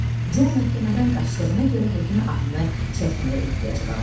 Co məhkəmədən qaçdığına görə Hekin adını çəkməyə ehtiyacı qalmamışdı.